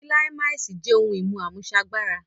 Kíláìmàsì jẹ́ ohun-ìmú àmúṣagbára